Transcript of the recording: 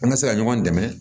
An ka se ka ɲɔgɔn dɛmɛ